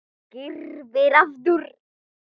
Skyrpir aftur.